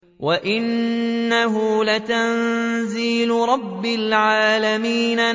وَإِنَّهُ لَتَنزِيلُ رَبِّ الْعَالَمِينَ